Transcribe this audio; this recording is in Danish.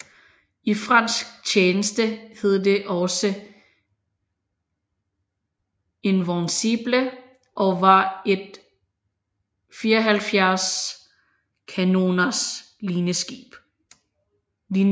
I fransk tjeneste hed det også Invincible og var et 74 kanoners linjeskib